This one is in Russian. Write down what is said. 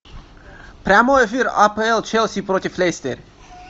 прямой эфир апл челси против лестер